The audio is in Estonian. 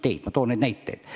Toon näiteks ka transiitteid.